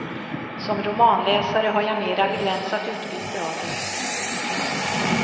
Som romanläsare har jag mera begränsat utbyte av dem.